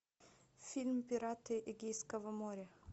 фильм пираты эгейского моря